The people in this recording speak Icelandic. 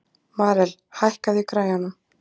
Marel, hækkaðu í græjunum.